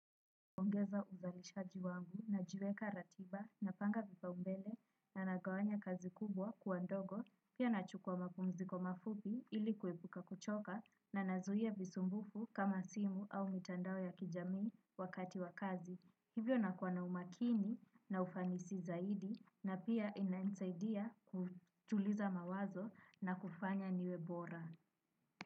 Ongeza uzalisha jiwangu najiweka ratiba napanga vipa umbele na nagawanya kazi kubwa kuwa ndogo, pia nachukua mapumziko mafupi ilikuepuka kuchoka na nazuia visumbufu kama simu au mitandao ya kijamii wakati wakazi. Hivyo nakuwa na umakini na ufanisi zaidi na pia inainsaidia kutuliza mawazo na kufanya niwe bora.